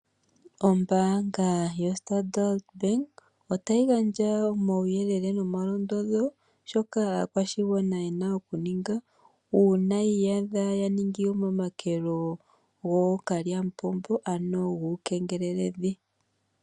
Ombaanga yoStandard Bank ota yi gandja omauyelele nomalondodho shoka aakwashigana ye na okuninga, uuna yiiyadha momakelo gookalyamupombo, ano guukengeleledhi.